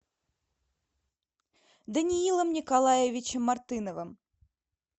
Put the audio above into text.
даниилом николаевичем мартыновым